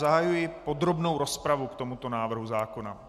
Zahajuji podrobnou rozpravu k tomuto návrhu zákona.